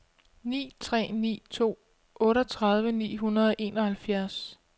ni tre ni to otteogtredive ni hundrede og enoghalvfjerds